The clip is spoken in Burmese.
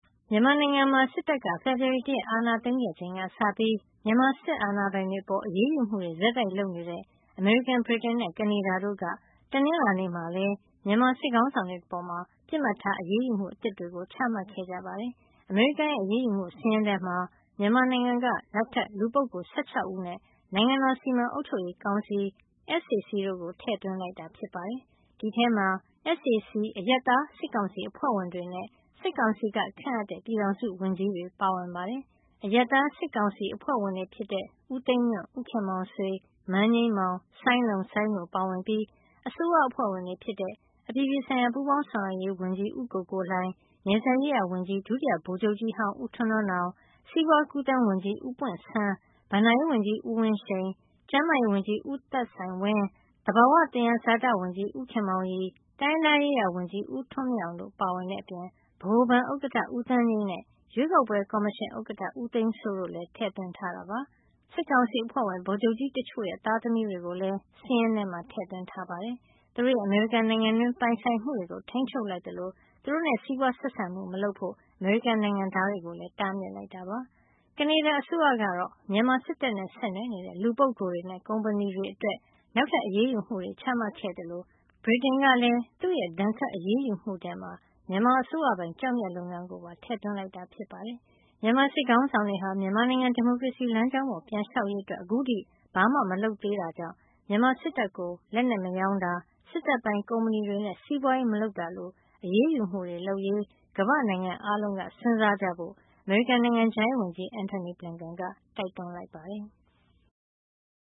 မြန်မာနိုင်ငံမှာ စစ်တပ်က ဖေဖေါ်ဝါရီ ၁ ရက် အာဏာသိမ်းခဲ့ချိန်ကစပြီး မြန်မာစစ်အာဏာပိုင်တွေ အပေါ် အရေးယူမှုတွေ ဆက်တိုက်လုပ်နေတဲ့ အမေရိကန်၊ ဗြိတိန်နဲ့ ကနေဒါတို့က တနင်္လာနေ့မှာလည်း မြန်မာစစ်ခေါင်းဆောင်တွေအပေါ် ပစ်မှတ်ထား အရေးယူမှု အသစ်တွေ ချမှတ်ခဲ့ကြပါတယ်။ အမေရိကန်ရဲ့ အရေးယူမှုစာရင်းထဲမှာ မြန်မာနိုင်ငံက နောက်ထပ် လူပုဂ္ဂိုလ် ၁၆ ဦးနဲ့ နိုင်ငံတော်စီမံအုပ်ချုပ်ရေး ကောင်စီ SAC တို့ကို ထည့်သွင်းလိုက်တာပါ။ ဒီအထဲမှာ SAC အရပ်သားစစ်ကောင်စီ အဖွဲ့ဝင်တွေနဲ့ စစ်ကောင်စီက ခန့်အပ်တဲ့ ပြည်ထောင်စုဝန်ကြီးတွေ ပါဝင် ပါတယ်။ အရပ်သား စစ်ကောင်စီအဖွဲ့ဝင်တွေဖြစ်တဲ့ ဦးသိန်းညွန့်၊ ဦးခင်မောင်ဆွေ၊ မန်းငြိမ်းမောင်၊ စိုင်းလုံစိုင်း တို့ပါဝင်ပြီး အစိုးရအဖွဲ့ဝင်တွေ ဖြစ်တဲ့ အပြည်ပြည်ဆိုင်ရာ ပူးပေါင်းဆောင်ရွက်ရေးဝန်ကြီး ဦးကိုကိုလှိုင်၊ နယ်စပ်ရေးရာ ဝန်ကြီး ဒုတိယဗိုလ်ချုပ်ကြီးဟောင်း ဦးထွန်းထွန်းနောင်၊ စီးပွါးကူးသန်းဝန်ကြီး ဦးပွင့်ဆန်း၊ ဘဏ္ဍာရေးဝန်ကြီး ဦးဝင်းရှိန်၊ ကျန်းမာရေးဝန်ကြီး ဦးသက်ဆိုင်ဝင်း၊ သဘာဝသယံဇာတဝန်ကြီး ဦးခင်မောင်ရီ၊ တိုင်းရင်းသားရေးရာဝန်ကြီး ဦးထွန်းအောင်မြင့်တို့ပါဝင် အပြင် ဗဟိုဘဏ်ဥက္ကဋ္ဌ ဦးသန်းငြိမ်နဲ့ ၊ ရွေးကောက်ပွဲကော်မရှင်ဥက္ကဋ္ဌ ဦးသိန်းစိုးတို့ကိုလည်း ထည့်သွင်းထားတာပါ။ စစ်ကောင်စီအဖွဲ့ဝင် ဗိုလ်ချုပ်ကြီးတချို့ရဲ့ သားသမီးတွေကိုလည်း စာရင်းထဲ ထည့်သွင်းထားပါတယ်။ သူတို့ရဲ့ အမေရိကန်နိုင်ငံတွင်း ပိုင်ဆိုင်မှုတွေကို ထိန်းချုပ်လိုက်သလို သူတို့နဲ့ စီးပွားရေး ဆက်ဆံမှုတွေ မလုပ်ဖို့ အမေရိကန်နိုင်ငံသားတွေကိုလည်း တားမြစ်ထားတာ ဖြစ်ပါတယ်။ ကနေဒါအစိုးရကတော့ မြန်မာစစ်တပ်နဲ့ ဆက်နွယ်နေတဲ့ လူပုဂ္ဂိုလ်တွေနဲ့ ကုမ္ပဏီတွေအတွက် နောက်ထပ်အရေးယူမှုတွေ ချမှတ်ခဲ့သလို ဗြိတိန်ကလည်း သူ့ရဲ့ ဒဏ်ခတ်အရေးယူမှုထဲမှာ မြန်မာအစိုးရပိုင် ကျောက်မျက်လုပ်ငန်း ကိုပါ ထည့်သွင်းလိုက်တာ ဖြစ်ပါတယ်။ မြန်မာစစ်ခေါင်းဆောင်တွေဟာ မြန်မာနိုင်ငံ ဒီမိုကရေစီလမ်းကြောင်း ပေါ် ပြန်လျှောက်ရေး အတွက် အခုထိ ဘာမှ မလုပ်သေးတဲ့အတွက် မြန်မာစစ်တပ်ကို လက်နက်မရောင်းတာ၊ စစ်တပ်ပိုင်ကုမ္ပဏီတွေနဲ့ စီးပွါးရေးမလုပ်တာလို အရေးယူမှုတွေလုပ်ရေး ကမ္ဘာ့နိုင်ငံအားလုံးက စဉ်းစားကြဖို့ အမေရိကန်နိုင်ငံခြားရေးဝန်ကြီး Antony Blinken ကတိုက်တွန်းလိုက်ပါတယ်။